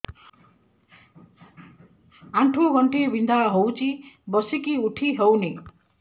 ଆଣ୍ଠୁ ଗଣ୍ଠି ବିନ୍ଧା ହଉଚି ବସିକି ଉଠି ହଉନି